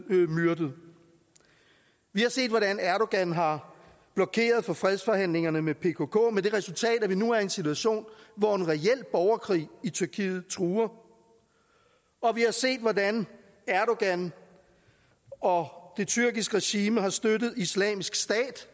myrdet vi har set hvordan erdogan har blokeret for fredsforhandlingerne med pkk med det resultat at vi nu er i en situation hvor en reel borgerkrig i tyrkiet truer og vi har set hvordan erdogan og det tyrkiske regime har støttet islamisk stat